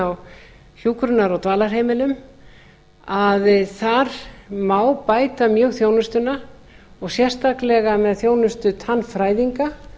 á hjúkrunar og dvalarheimilum að þar má bæta mjög þjónustuna og sérstaklega með þjónustu tannfræðinga